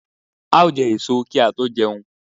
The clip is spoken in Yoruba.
A ó jẹ èso kí a tó jẹun